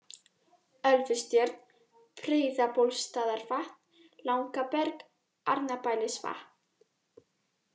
Ölfustjörn, Breiðabólsstaðarvatn, Langaberg, Arnarbælisvatn